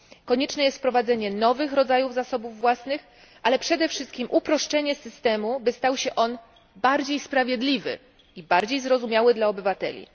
Konieczne jest wprowadzenie nowych rodzajów zasobów własnych, ale przede wszystkim uproszczenie systemu by stał się on bardziej sprawiedliwy i bardziej zrozumiały dla obywateli.